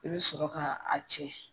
I bɛ sɔrɔ ka a cɛ.